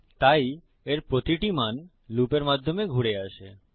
তাই এর প্রতিটি মান লুপের মাধ্যমে ঘুরে আসে